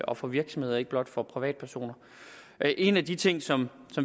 og for virksomheder og ikke blot for privatpersoner en af de ting som